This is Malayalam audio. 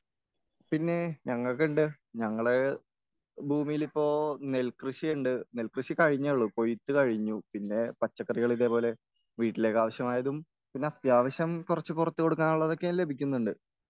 പിന്നെ ഞങ്ങൾക്കുണ്ട്.ഞങ്ങളെ ഭൂമിയിലിപ്പോൾ നെൽ കൃഷിയുണ്ട്.നെൽ കൃഷി കഴിഞ്ഞൊള്ളൂ, കൊയിത്ത് കഴിഞ്ഞു.പിന്നെ പച്ചക്കറികൾ ഇതേപോലെ വീട്ടിലേക്കാവശ്യമായതും പിന്നെ അത്യാവശ്യം കുറച്ച് പുറത്ത് കൊടുക്കാനുള്ളതും ലഭിക്കുന്നുണ്ട്.